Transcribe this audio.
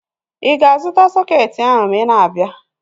Ịga-azụta sọketi ahu ma ị na-abịa?